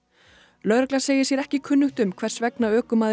lögregla segir sér ekki kunnugt um hvers vegna ökumaðurinn